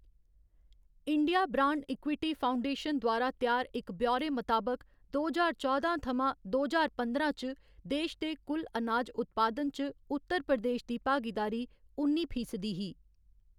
India brand equity foundation द्वारा त्यार इक ब्यौरे मताबक दो ज्हार चौदां थमां दो ज्हार पंदरां च देश दे कुल अनाज उत्पादन च उत्तर प्रदेश दी भागीदारी उन्नी फीसदी ही।